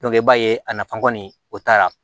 i b'a ye a nafa kɔni o t'a la